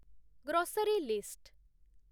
grocery list